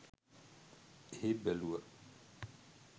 එහෙ බැලුව